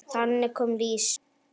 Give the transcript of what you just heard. Þannig kom Lísa.